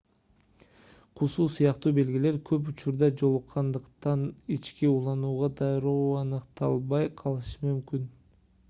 кусуу сыяктуу белгилер көп учурда жолуккандыктан ички уулануу дароо аныкталбай калышы мүмкүн